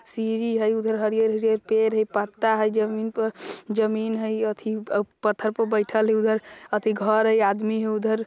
सीधी हई उधर हरियर-हरियर पेड़ हई पत्ता हई जमीन पर जमीन हई एथी पत्थर पर बइठल हई उधर एथी घर हई उधर आदमी ह उधर --